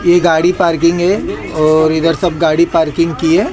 गाड़ी पार्किंग है और इधर सब गाड़ी पार्किंग की है।